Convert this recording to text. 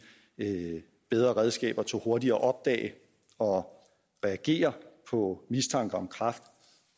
bedre redskaber til hurtigere at opdage og reagere på mistanke om kræft